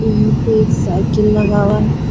यहाँ पे एक साइकिल लगा हुआ है।